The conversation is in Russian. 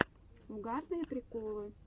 угарные приколы